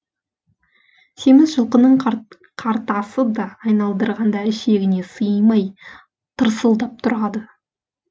семіз жылқының қартасы да айналдырғанда ішегіне сыймай тырсылдап тұрады